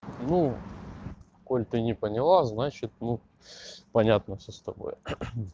ну коль ты не поняла значит ну понятно всё с тобой